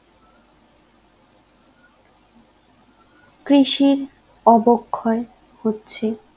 কৃষির অবক্ষয় হচ্ছে